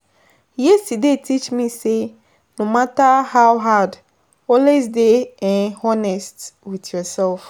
Yesterday teach me say, no matter how hard, always dey um honest with with yourself.